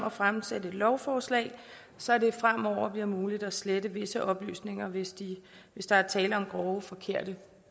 at fremsætte et lovforslag så det fremover bliver muligt at slette visse oplysninger hvis hvis der er tale om groft forkerte